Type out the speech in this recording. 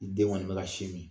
Den kɔni bɛ ka sin min